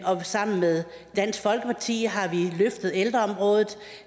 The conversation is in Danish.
og sammen med dansk folkeparti har vi løftet ældreområdet